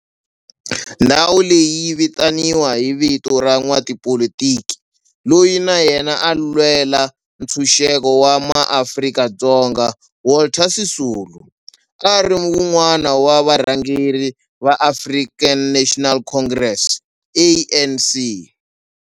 Ndhawu leyi yi vitaniwa hi vito ra n'watipolitiki loyi na yena a lwela ntshuxeko wa maAfrika-Dzonga Walter Sisulu, a ri wun'wana wa varhangeri va African National Congress, ANC.